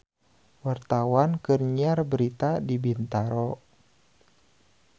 Wartawan keur nyiar berita di Bintaro